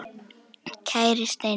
Kæri Steini.